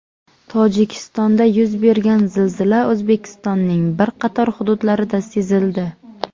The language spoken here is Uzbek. Tojikistonda yuz bergan zilzila O‘zbekistonning bir qator hududlarida sezildi.